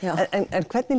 en hvernig